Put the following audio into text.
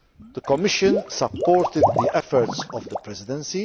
The Commission supported the efforts of the Presidency.